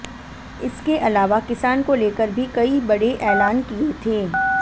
इसके अलावा किसान को लेकर भी कई बड़े एलान किए थे